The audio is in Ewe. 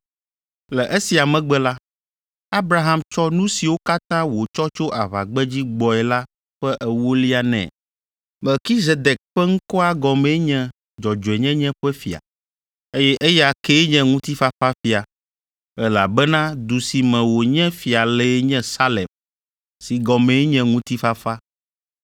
Le esia megbe la, Abraham tsɔ nu siwo katã wòtsɔ tso aʋagbedzi gbɔe la ƒe ewolia nɛ. Melkizedek ƒe ŋkɔa gɔmee nye “Dzɔdzɔenyenye ƒe fia.” Eye eya kee nye Ŋutifafafia, elabena du si me wònye fia lee nye Salem si gɔmee nye “Ŋutifafa.”